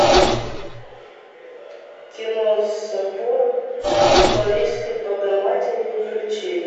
кино собор парижской богоматери включи